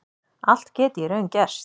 Allt geti í raun gerst